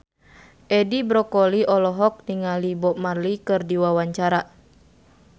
Edi Brokoli olohok ningali Bob Marley keur diwawancara